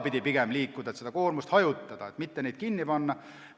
Pigem tuleks liikuda sedapidi, et koormust hajutada, mitte neid maju kinni panna.